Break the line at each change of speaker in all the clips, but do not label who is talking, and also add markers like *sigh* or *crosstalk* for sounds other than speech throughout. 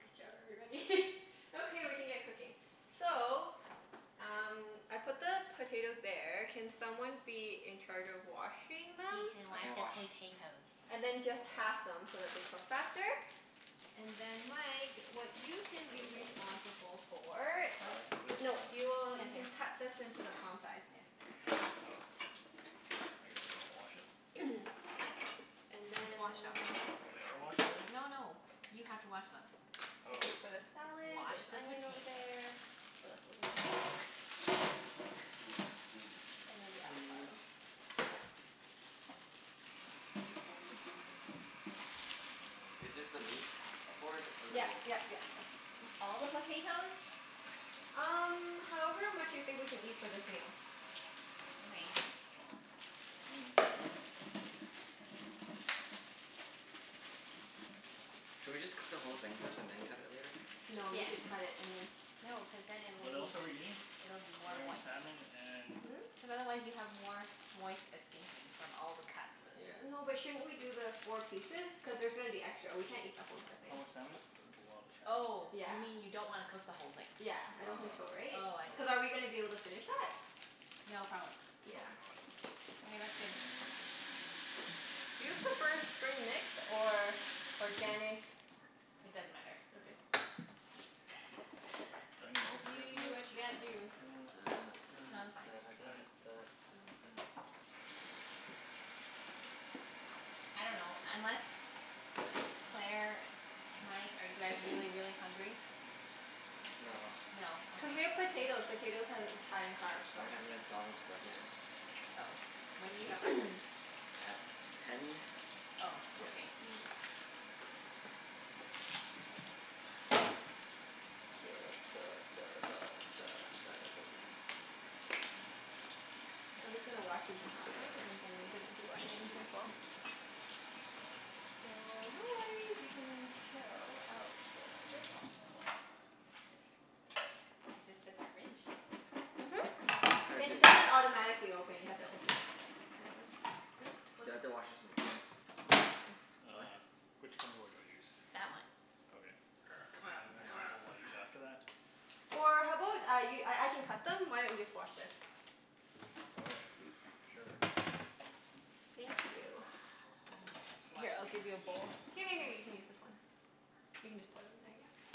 Good job everybody. *laughs* Okay, we can get cooking. So um I put the potatoes there. Can someone be in charge of washing them?
He can
I
wash
can
the
wash.
potatoes.
And then just half
*noise*
them so that they cook faster. And then Mike, what you can
Do we have
be
a bowl?
responsible for
The
What?
salad?
Is there a
No,
bowl? Oh.
you will,
Yeah,
you
there.
can cut this into the palm size.
There.
Oh. I guess we wanna wash it? Are they?
What?
*noise* And
It's washed
then
already.
Oh they are washed already?
No no, you have to wash them.
Oh.
This is for the salad.
Wash
There's
the
onion over
potatoes.
there. What else goes in the salad?
*noise* Scusi, scusi.
And then the
'Scuse.
avocado.
Is this the meat board? Or the
Yep
wood?
yep yep, that's a good one.
All the potatoes?
Um however much you think we can eat for this meal.
All right.
*noise*
Should we just cook the whole thing first and then cut it later?
No, you
Yes.
should cut it and then
No, cuz then it'll
What else are we
be,
eating?
it'll be more
We're having
moist.
salmon and
Hmm?
Cuz otherwise you have more moist escaping from all the cuts.
Yeah.
*noise* No but shouldn't we do the four pieces? Cuz there's gonna be extra. We can't eat the whole entire thing.
How much salmon? That's a lot of
Oh,
salmon.
you
Yeah.
mean you don't wanna cook the whole thing?
Yeah, I
Oh,
don't think so
oh okay.
right?
Oh, I see.
Cuz are we going
Okay.
to be able to finish that?
No, probably not. Yeah.
Probably
Okay, that's good.
not. *noise*
Do you prefer spring mix or organic
It doesn't matter.
Okay.
Do I need more potatoes
You
than
do
this?
what
*noise*
you gotta do.
Da da
No, they're
da
fine.
da
Okay.
da da da da.
I dunno, unless, Claire, Mike, are you guys really really hungry?
No.
No.
Cuz
Okay.
we have potato. Potatoes has high in carbs, so.
I had a McDonald's
Yeah.
breakfast.
Oh. When did you have breakfast?
*noise*
At ten.
Oh,
Yeah.
okay.
*noise*
Duh duh duh duh duh duh duh duh. *noise*
I'm just gonna wash these and half them and then gonna do onions as well.
*noise*
So no worries, you can chill out for a little bit.
Is this the garbage?
Mhm. It
*inaudible*
doesn't automatically open, you have to open it. I know it's, yes?
Do
What's
I have
up?
to wash this in water?
No, it's fine.
What?
Which cutting board do I use? That
That one.
one? Okay.
*noise*
*inaudible*
C'mon, c'mon
I use after that?
*noise*
Or how about I y- I I can cut them? Why don't you just wash this?
Okay. Sure.
Thank you.
Mhm. Wash
Here
it
I'll
*noise*
in the
give you a
container.
bowl. Here here here you can use this one. You can just pour them in there, yep.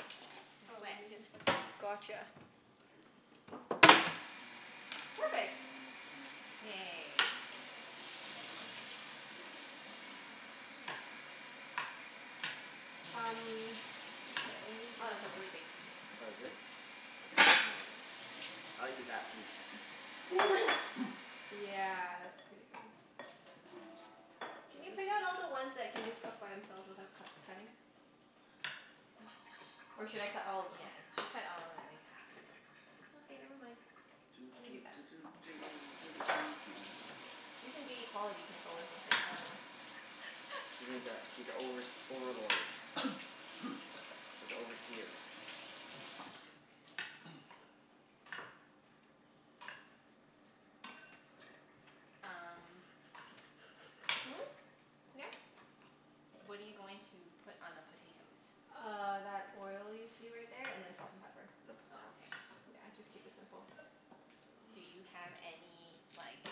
It's
Oh let
wet.
me get. Gotcha. Perfect.
*noise*
Yay.
Um okay, let me
Oh,
get a
that's a really big piece.
Oh, is it? I'll cut smaller ones. I'll eat that piece.
*noise*
*noise* Yeah, that's pretty big. Can you
Is
pick out
this
all the ones that can just cook by themselves without cut cutting? Or should I cut all of them?
Yeah, you should cut all of them at least half.
Okay, never mind.
Doo
Let me do
doo
that.
doo doo doo doo doo doo doo.
You can be quality control or something. I dunno.
You need that, be the overs-
*laughs*
overlord.
*noise*
Like the overseer.
*noise*
Um
Hmm? Yeah?
What are you going to put on the potatoes?
Uh that oil you see right there and then salt and pepper.
The
Oh,
potats.
okay.
Yeah, just keep it simple.
Do you
*noise*
have any like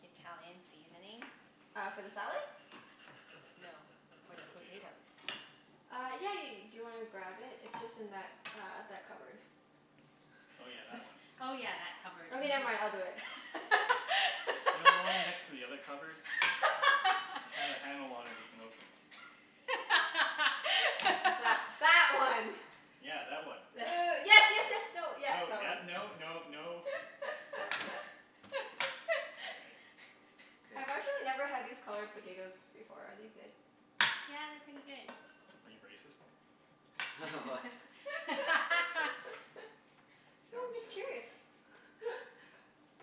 Italian seasoning?
Uh for the salad?
No. For
For the
the
potato.
potatoes.
Uh yeah yeah ye- . Do you want to grab it? It's just in that uh that cupboard.
Oh yeah, that one.
Oh yeah, that cupboard.
Okay never
Mhm.
mind, I'll do it.
You know the one next to
*laughs*
the other cupboard? It's got a handle on it that you can open.
That that one.
*laughs*
Yeah, that one.
Uh yes yes yes, no, yep,
No,
that
yep,
one.
no no no.
*laughs*
Okay.
*laughs*
K.
I've actually never had these colored potatoes before. Are they good?
Yeah, they're pretty good.
Are you racist?
*laughs* What?
*laughs*
*laughs* So I'm
Sounds
just curious.
racist.
*laughs*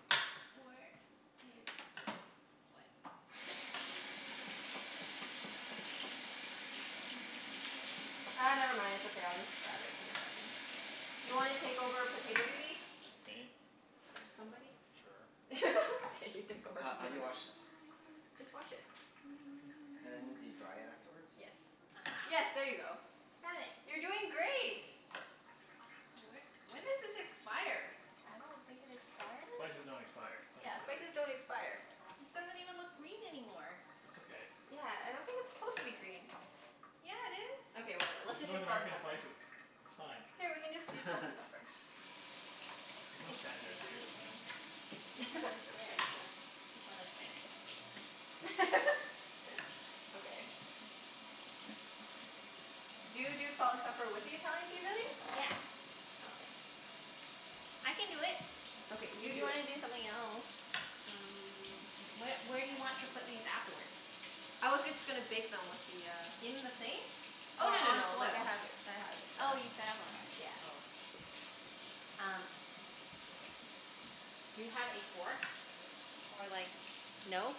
Where is, what? *noise*
Ah never mind. It's okay. I'll just grab it in a second. Do you want to take over potato duty?
Me?
*noise* Somebody?
Sure.
*laughs* Okay, you take over
Ho- how do you
potato.
wash this?
Just wash it.
And do you dry it afterwards?
Yes.
*noise*
Yes,
Aha.
there you go.
I found it.
You're doing great.
Wh- when does this expire?
I don't think it expires.
Spices don't expire. Don't be
Yeah,
silly.
spices don't expire.
This doesn't even look green anymore.
That's okay.
Yeah, I don't think it's supposed to be green.
Yeah, it is.
Okay whatever. Let's
It's
just
North
use salt and
American
pepper.
spices. It's fine.
Here, we can just use salt and
*laughs*
pepper.
There's no
It's
standards
okay.
here.
Wait and this one looks better. This one looks better.
*laughs* Okay. Do you do salt and pepper with the Italian seasoning?
Yeah.
Okay.
I can do it.
Okay,
If
you
you
do it.
wanna do something else?
Um
Wh- where do you want to put these afterwards?
I was just going to bake them with the uh
In the thing?
Oh
Or
no no
on
no, like I
foil?
have it, I have it set
Oh
up.
you set up already? Oh okay. Um okay. Do you have a fork, or like, no?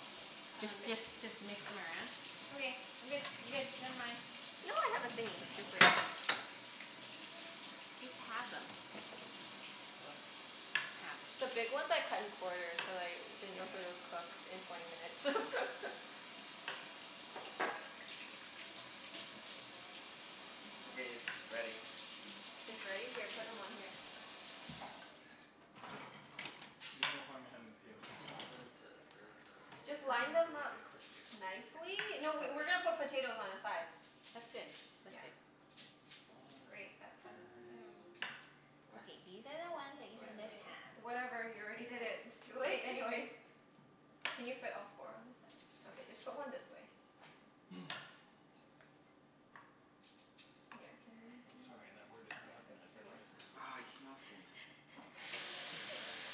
Just
Um
just just mix them around? Okay, I'm good, I'm good. Never mind.
No I have a thingie.
You're in my
Just wait.
way.
Just halve them.
What?
Halve.
*noise*
The big ones I cut in quarters, cuz I didn't know if they would
Okay.
cook in twenty minutes. *laughs*
Okay, it's ready.
It's ready? Here, put them on here.
There's no harm in having the potatoes too small. *noise*
Just line them
They'll just
up
get
*noise*
crispier.
nicely.
Okay.
No, we we're going to put potatoes on the side.
That's good. That's
Yeah.
good.
Fine
Great. That
Fine.
side
fine.
of *inaudible*
What?
Okay, these are the ones that you
Oh
Yep,
can
yeah.
yeah
just
yeah.
halve.
Whatever, you already
Okay
did it. It's
boss.
too late anyways. Can you fit all four on this side? Okay, just put one this way.
*noise*
Yeah, can you move this
I'm
one?
sorry, that word is not
Yeah, good,
recognized by
good
the
work.
English language.
Aw it came off again.
Please try again.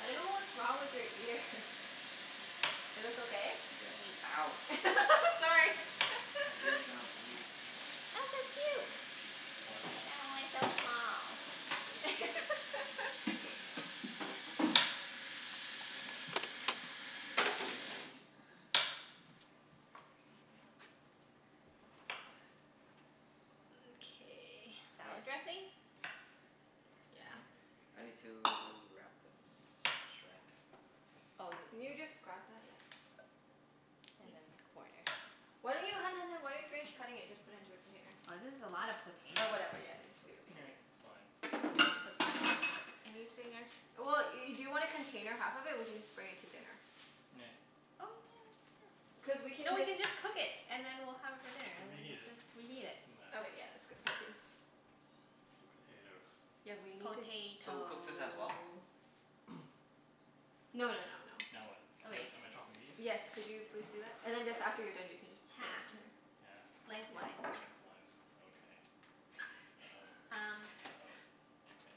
I don't know what's wrong with your ears. Is this okay?
Yeah. Ow.
*laughs* Sorry.
My ear's gonna
*laughs*
bleed.
What? I
*inaudible*
killed it. It's
*laughs*
dead now.
Okay.
Hey,
Salad dressing?
Yeah.
Hmm?
I need to wrap this in saran wrap.
Oh y-
Can you just grab that? Yeah.
And
Thanks.
then quarter.
Why don't you, hun hun hun. Why don't you finish cutting it and just put into a container?
This is a lot of potato.
Or whatever, yeah just leave it leave it
*noise*
leave
It's
it.
fine.
It's okay.
Anything ex- well, y- do you want to container half of it? We can just bring it to dinner.
Nah.
Oh yeah, that's true.
Cuz we
No,
can
we
just
can just cook it and then we'll have it for dinner
We'll
and
reheat
we
it.
can reheat it.
Doesn't matter.
Okay yeah, that's good point too.
The potatoes.
Yeah, we need to
So cook this as well?
Potato.
*noise*
No no no no.
Now what? Am
Okay.
I am I chopping these?
Yes, could you please do that? And then just, after you're done you can just set them
Half.
on here.
Halfed. Lengthwise.
Lengthwise.
Okay. uh-oh
Um
uh-oh.
*laughs*
Okay.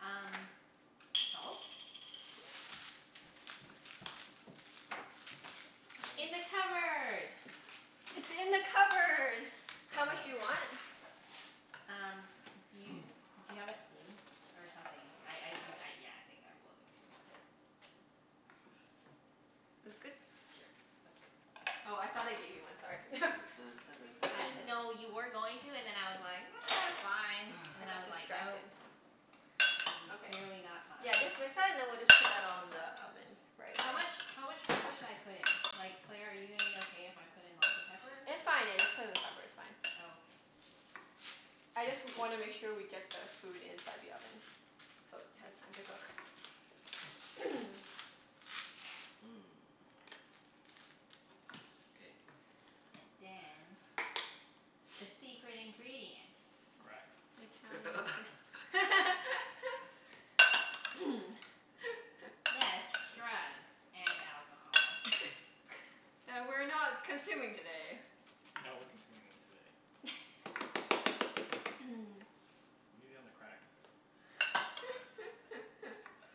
Um salt?
Yes.
In
*noise*
the cupboard.
*noise* It's in the cupboard. How
That
much
one.
do you want?
Um, do you,
*noise*
do you have a spoon or something? I I do, yeah, I think I will need to mix it.
This good?
Sure, that's good.
Oh I thought I gave you one. Sorry. *laughs*
Da da da da
No,
*noise*
da
you were
da
going to and
da
then I was like, ah it's fine. And
I
then I
got
was
*noise*
like, no.
distracted.
This is
Okay.
clearly not fine.
Yeah, just *inaudible* and then we'll just put that all in the oven right
How
away.
much, how much pepper should I put in? Like Claire, are you gonna be okay if I put in lots of pepper?
It's fine, yeah, just put in the pepper, it's fine.
Oh okay.
I just wanna
*noise*
make sure we get the food inside the oven so it has time to cook. *noise*
Mmm, K.
And dance, the
*noise*
secret ingredient.
Crack?
Italian sea-
*laughs*
*laughs* *noise* *laughs*
Yes, drugs and alcohol.
*laughs* That we're not consuming today.
No, we're consuming them today.
*laughs* *noise*
Easy on the crack.
*laughs*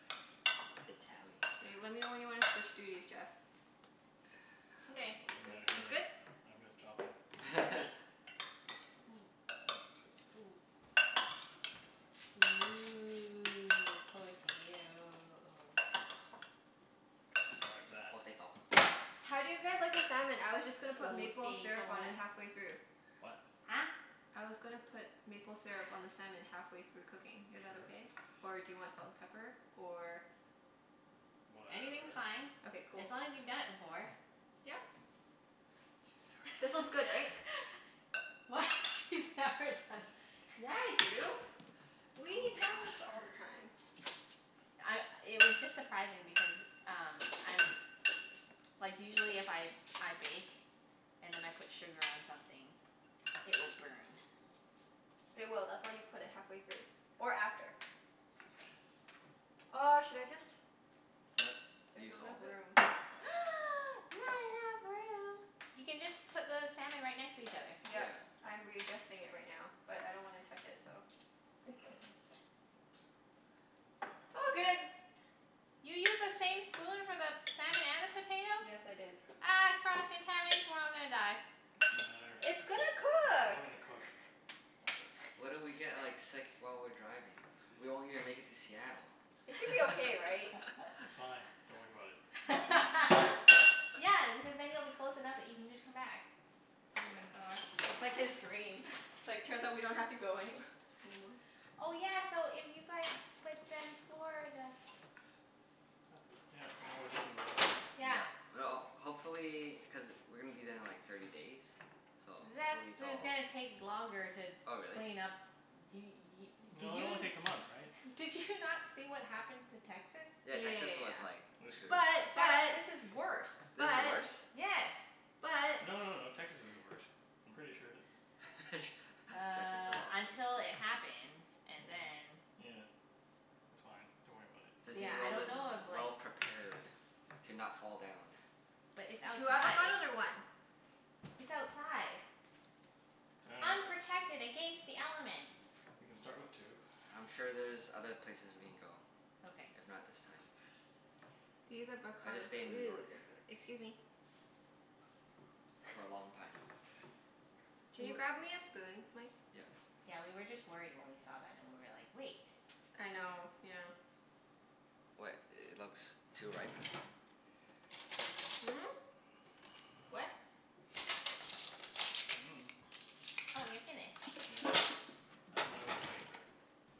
Italian
K, let me know when
crack.
you want to switch duties Jeff.
Okay.
Doesn't matter to
It's
me.
good?
*noise*
I'm just chopping.
*laughs*
Ooh, potato.
*inaudible* that.
Potato.
How do you guys like the salmon? I was just gonna put maple syrup on it
Potato.
halfway through.
What?
Huh?
I was gonna put maple syrup on the salmon halfway through cooking. Is that
Sure.
okay? Or do you want salt and pepper? Or
Anything's
Whatever.
fine,
Okay, cool.
as long as you've done it before.
Yep.
She's
This
never
*laughs*
one's
done
good right?
it before.
What? She's never done?
Yeah I do. We eat
Don't cross
halibut all
her.
the time.
I, it was just surprising because um, I'm, like usually if I I bake and then I put sugar on something, it will burn.
It will. That's why you put it halfway through or
Okay.
after.
Okay.
Oh should I just,
What?
there's
Use
not enough
all of it?
room.
*noise* Not enough room? You can just put the salmon right next to each other.
Yep.
Yeah.
I'm readjusting it right now, but I don't want to touch it, so. *laughs*
Oops.
It's all good.
You used the same spoon for the salmon and the potato?
Yes, I did.
Ah cross contamination. We're all gonna die.
It doesn't matter.
It's gonna
It's
cook.
all gonna cook.
What if we get like sick while we're driving? We won't even make it to Seattle.
It should be
*laughs*
okay right?
It's fine. Don't worry about it.
*laughs* Yeah, because then you'll be close enough that you can just come back.
Oh my
Yes.
gosh. That's like his dream. It's like, turns out we don't have to go anywh- anymore.
Oh yeah, so if you guys, but then Florida.
Yep. No more Disney World.
Yeah.
Yeah, well hopefully. Cuz we're going to be there in like thirty days, so
That's,
hopefully it's
it's
all
gonna take longer to
Oh really?
clean up. D- y- did
No, it
you
only takes a month right?
did you not see what happened to Texas?
Yeah, Texas
Yeah
was like
They're
yeah
screwed.
screwed.
yeah
This is
yeah.
worse.
This is
But.
worse?
But.
Yes.
But.
No no no.
But.
Texas is the worst. I'm pretty sure that
*laughs* Jeff is so
Uh until it
optimistic.
happens and then
*noise* Yeah. It's fine. Don't worry about it.
Disney
Yeah, I
World
don't
is
know if like
well prepared to not fall down.
But it's
Two
outside.
avocados or one?
It's outside.
*noise*
Unprotected against the elements.
We can start with two. *noise*
I'm sure there's other places we can go,
Okay.
if not this time.
These
I'll just
avocados
stay
are
in New
really
York
good by the, excuse me.
for a long time.
Can
Do
you
you
grab me a spoon Mike?
Yep.
Yeah, we were just worried when we saw that and we were like, wait.
I know. Yeah.
What? It looks too ripe?
Hmm? What?
*noise*
Oh you're finished.
Yeah. I think my way's safer.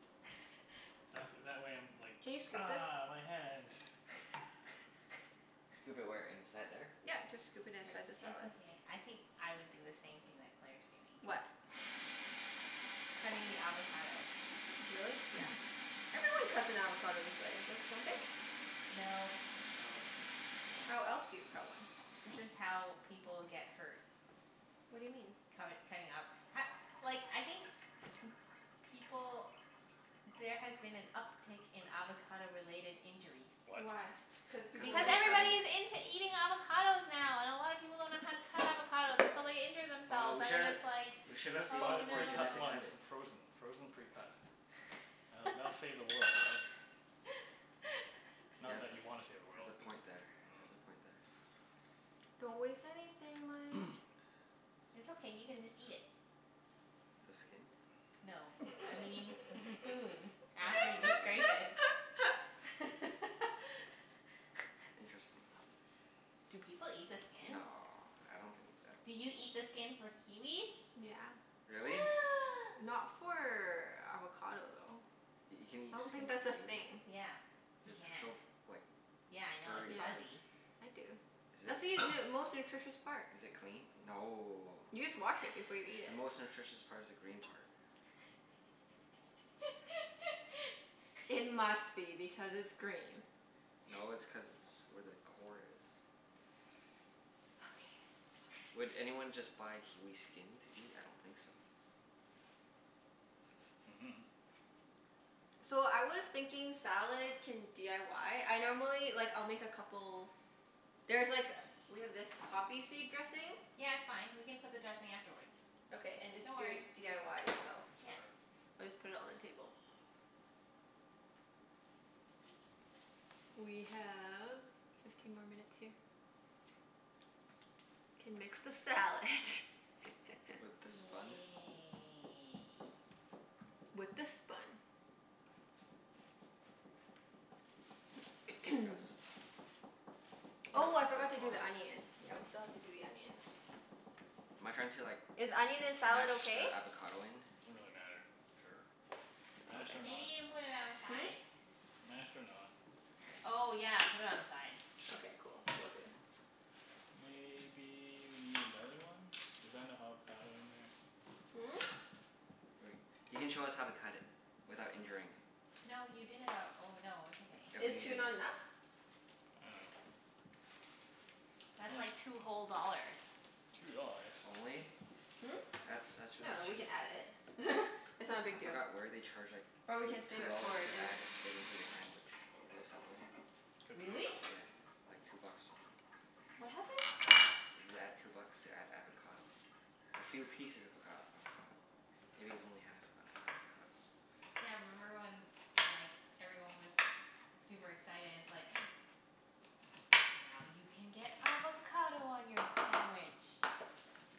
*laughs*
That wh- that way I'm like,
Can you scoop this?
ah, my hand.
*noise*
Scoop it where? Inside there?
Yep. Just scoop it
K.
inside the
It's
salad.
okay. I think I would do the same thing that Claire's doing.
What?
Cutting the avocado.
Really? Yeah.
*noise*
Everyone cuts an avocado this way, don't don't they?
Nope.
No.
Nope.
How else do you cut one?
This is how people get hurt.
What do you mean?
Cutt- cutting up h- like I think people, there has been an uptake in avocado related injuries.
What?
Why? Cuz
Cuz
people
if
Because
like
we're cutting
everybody's into eating avocados now and a lot of people don't know how to cut avocados and so they injure
Oh
themselves,
we
and then
should,
it's like,
We
we should
should
have
have just
saved one
bought a
oh no.
for Junette
precut
to
one
cut it.
in frozen. Frozen precut. That'll that'll save the world, right? Not that you want to save
*laughs*
the
Has
world,
a
cuz
point there. Has a
*noise*
point there.
Don't waste anything Mike.
*noise*
It's okay, you can just eat it.
The skin?
No. I mean the spoon after you scrape
Oh.
it.
*laughs*
*laughs*
Interesting.
Do people eat the skin?
No, I don't think it's
Do you
edible.
eat the skin for kiwis?
Yeah.
Really?
*noise*
Not for avocado though.
You can eat
I don't
skin
think that's
of a
a thing.
kiwi?
Yeah, you
It's so
can.
f- like
Yeah I know, it's
furry
Yeah.
though.
fuzzy.
I do.
Is
That's
it,
the *inaudible*
*noise*
most nutritious part.
is it clean? No.
You just wash it before you eat
The
it.
most nutritious part is the green part.
*laughs*
It must be because it's green.
No, it's cuz it's where the core is.
Okay
Would
okay.
anyone just buy kiwi skin to eat? I don't think so.
*laughs*
Mhm.
So I was thinking salad can d i y? I normally, like I'll make a couple. There's like, we have this poppy seed dressing?
Yeah, it's fine. We can put the dressing afterwards.
Okay and just
Don't
do it
worry.
d i y yourself.
Sure.
We'll just put it on the table. We have fifteen more minutes here. Can mix the salad.
With the
*laughs*
spun?
Yay.
With the spun.
Like this?
*noise* Oh I forgot
*inaudible*
to do
toss it?
the onion. Yeah, we still have to do the onion.
Am I trying to like
Is onion in salad
mash the
okay?
avocado in?
Doesn't really matter. Sure. Mashed or
Okay.
Maybe
not.
you can put it on the
Hmm?
side?
Mashed or not.
Okay.
Oh yeah, put it on the side.
Okay, cool. Will do.
Maybe you need another one? Is that enough avocado in there?
Hmm?
Wait. You can show us how to cut it without injuring.
No you did it al- oh no, it's okay.
Is two not enough?
*inaudible*
I dunno.
That's like two whole dollars.
*noise* Two dollars?
Only?
Hmm?
*laughs*
That's, that's really
No, we can
cheap.
add it. *laughs* It's not
For-
a
I
big deal.
forgot where they charge like
Or we
two
can save
two
it for
dollars
our
to
dinner.
add it into your sandwich. Is it Subway?
Could be.
Really?
Yeah. Like two bucks or something.
What happened?
You add two bucks to add avocado. A few pieces of avocad- avocado. Maybe it's only half of an avocado.
Yeah, remember when like everyone was super excited and it's like, now you can get avocado on your sandwich.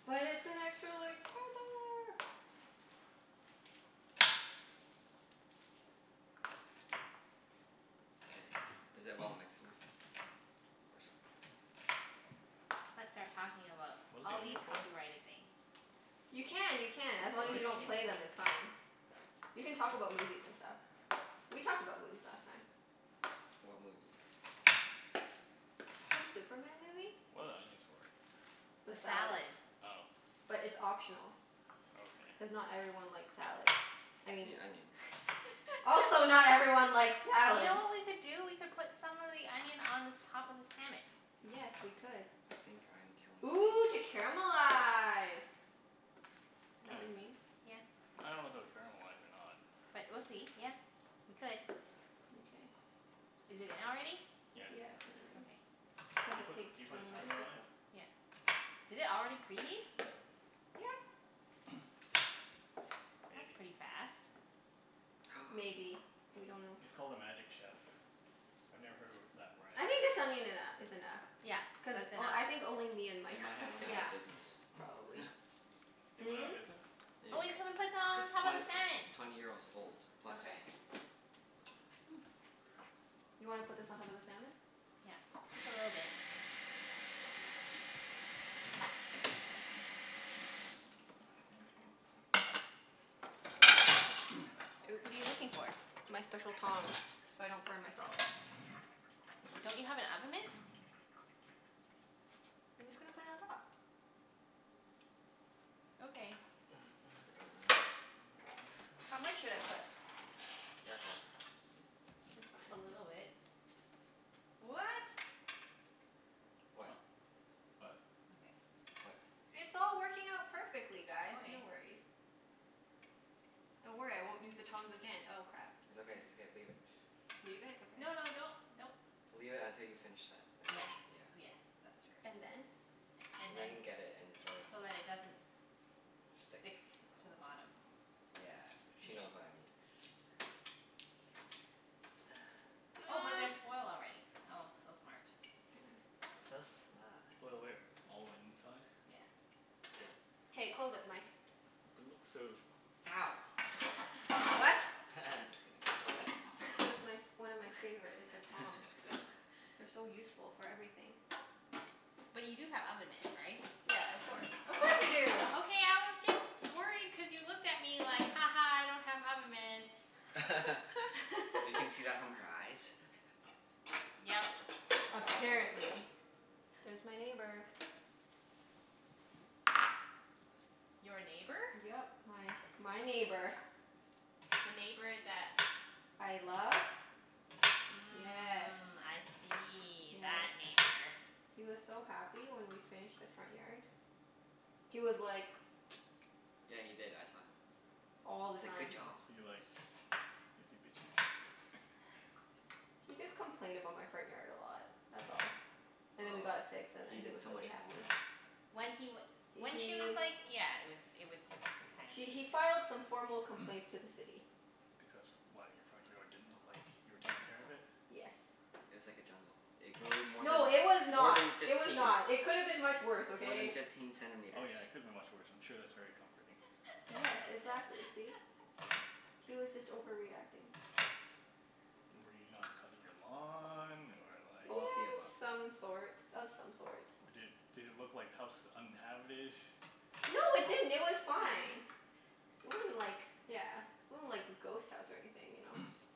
But it's an extra like four dollar.
K, is it well
*noise*
mixed enough? Or s-
Let's start talking about
What is the
all these
onion for?
copyrighted things.
You
Just
can,
kidding.
you can. As
What
long
are
as you
the
don't
onions
play them
for?
it's fine. You can talk about movies and stuff. We talked about movies last time.
What movie?
Some Superman movie.
What are the onions for?
The
The
salad.
salad.
Oh.
But it's optional.
Okay.
Cuz not everyone likes salad. I
You
mean.
mean
*laughs*
onion.
Also
You
not everyone likes salad.
know what we could do? We could put some of the onion on the top of the salmon.
Yes, we could.
I think I'm killing
Ooh to
this.
caramelize. Is
*noise*
that what you mean?
Yeah.
I don't know if it will caramelize or not.
But we'll see. Yeah, we could.
Mkay.
Is it in already?
Yeah, it's
Yeah,
in
it's in
already.
already.
Okay.
Cuz
Do you
it
put,
takes
do you put a
twenty minutes
timer
to
on it?
cook.
Yeah. Did it already preheat?
Yeah.
*noise*
That's
Maybe.
pretty fast.
*noise*
Maybe. We don't know.
It's called a Magic Chef. I've never heard of a that brand.
I think the salmon eno- is enough
Yeah,
cuz
that's enough.
o- I think only me and
They
Mike
might
like
have went
it
out
Yeah.
of business.
probably.
*laughs*
*noise* They went out
Hmm?
of business?
There you
But
go.
we can put some
It's
on top of
twent-
the
its
salmon.
twenty years old plus.
Okay. You wanna put this on top of the salmon?
Yeah. Just a little bit.
*noise*
What are you
Oops.
looking for?
My special tongs, so I don't burn myself.
Don't you have an oven mitt?
I'm just going to put it on top.
Okay.
How much should I
*noise*
put?
Careful.
It's fine.
A little bit. What?
What?
Oh? What?
Okay.
What?
It's all working out perfectly guys. No
Okay.
worries. Don't worry, I won't use the tongs again. Oh crap.
It's okay, it's okay. Leave it.
Leave it? Okay.
No no, don't, don't.
Leave it until you finish that and
Yeah.
then. Yeah.
Yes, that's true.
And then?
And
And
then.
then get it and throw it in the
So that it doesn't
Stick.
stick to the bottom.
Yeah. She knows what I mean. *noise* *noise*
Oh but there's
*noise*
foil already. Oh, so smart.
*noise*
So smart.
Foil where? All the inside?
Yeah.
Good.
K, close it Mike.
But it looks so,
Ow.
I dunno.
What?
*laughs* Just kidding.
This is my f- one of my favorite, is the tongs.
*laughs*
They're so useful for everything.
But you do have oven mitts, right?
Yeah, of course. Of course we do.
Okay I was just worried cuz you looked at me like, ha ha I don't have oven mitts. *laughs*
*laughs* You can
*laughs*
see that from her eyes?
Yep.
Apparently. There's my neighbor.
Your neighbor?
Yep. My my neighbor.
The neighbor that
I love? Yes.
Mm, I see. That
Yes.
That.
neighbor.
He was so happy when we finished the front yard. He was like
Yeah, he did. I saw him.
All
He
the
said, "Good
time.
job."
Is he like, is he bitchy?
He just complained about my front yard a lot, that's all. And then we
Oh,
got it fixed and
he
then he
did
was
so
really
much more.
happy.
When he w-
H-
when he was
he
like yeah. It was, it was kind of
he he
ridiculous.
filed some formal
*noise* Because,
complaints to the City.
why? Your front yard didn't look like you were taking care of it?
Yes.
It was like a jungle. It grew more than,
No, it was
more
not.
than
It was
fifteen,
not. It could have been much worse,
more than
okay?
fifteen
Oh
centimeters.
yeah, it could have been much worse. I'm sure that's very comforting.
Yes, exactly. See?
*laughs*
He was just overreacting.
Were you not cutting your lawn or like
All of the above.
*noise* Some sorts. Of some sorts.
Or did, did it look like house was uninhabited?
No it didn't. It was fine.
*laughs*
It wasn't like, yeah, it wasn't like a ghost house or anything, you know?
*noise*